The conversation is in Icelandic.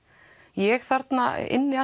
ég þarna inni